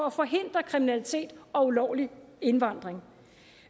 at forhindre kriminalitet og ulovlig indvandring